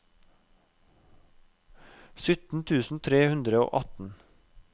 sytten tusen tre hundre og atten